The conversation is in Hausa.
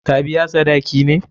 Ka biya sadaki ne?